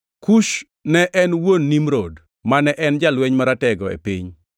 Kush ne en wuon Nimrod, mane en jalweny maratego e piny.